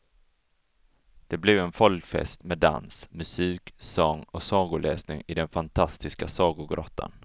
Det blev en folkfest med dans, musik, sång och sagoläsning i den fantastiska sagogrottan.